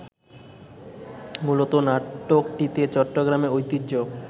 মূলত নাটকটিতে চট্টগ্রামের ঐতিহ্য